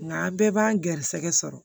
Nka a bɛɛ b'an ga garisɛgɛ sɔrɔ